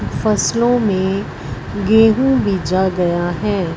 फसलों में गेहूं बीजा गया है।